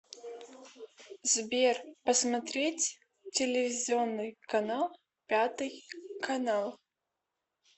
сбер посмотреть телевизионный канал пятый канал